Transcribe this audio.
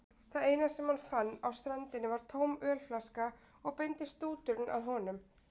Það eina sem hann fann á ströndinni var tóm ölflaska og beindist stúturinn að honum.